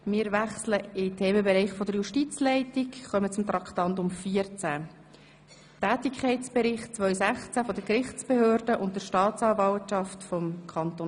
Wir wechseln in den Themenbereich der Justizleitung und kommen zu Traktandum 14.